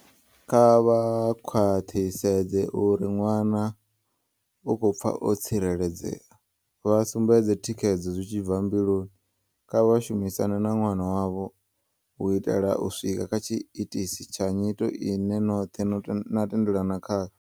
Kha vha khwaḓhisedze uri ḓwa-na u khou pfa o tsireledzea, vha sumbedze thikhedzo zwi tshi bvambiluni. Kha vha shumisane na ḓwana wavho u itela u swika kha tshiitisi tsha nyito ine noḓhe na tendelana khayo.